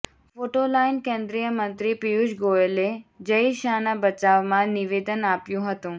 photo line કેન્દ્રિય મંત્રી પિયુષ ગોયલે જય શાહના બચાવમાં નિવેદન આપ્યું હતુ